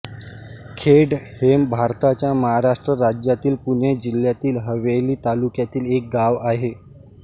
खेड हे भारताच्या महाराष्ट्र राज्यातील पुणे जिल्ह्यातील हवेली तालुक्यातील एक गाव आहे